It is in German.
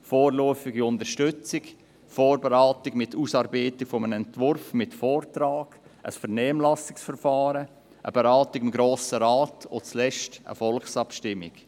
Vorläufige Unterstützung, Vorberatung mit Ausarbeitung eines Entwurfs mit Vortrag, Vernehmlassungsverfahren, Beratung im Grossen Rat, und zuletzt die Volksabstimmung.